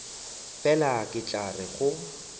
fela ke tla re go